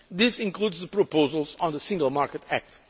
This includes the proposals on the Single Market Act.